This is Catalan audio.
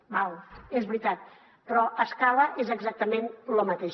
d’acord és veritat però a escala és exactament lo mateix